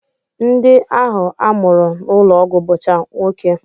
Ndị ahụ a mụrụ n'ụlọọgwụ bụcha nwoke